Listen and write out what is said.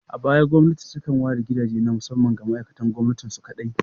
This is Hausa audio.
A baya, gwamnati takan ware gidaje na musamman ga ma'aikatan gwamnati su kaɗai.